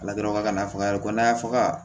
Ala dɔrɔn ka kan ka ko n'a y'a faga